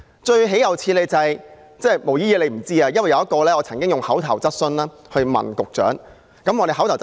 最豈有此理的是——"毛姨姨"不知道此事——我曾經向局長提出口頭質詢。